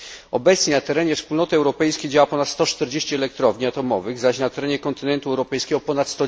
Obecnie na terenie Wspólnoty Europejskiej działa ponad 140 elektrowni atomowych, zaś na terenie kontynentu europejskiego ponad